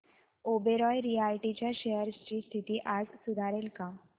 Oberoi realty च्या shares ची स्थिती आज सुधारेल का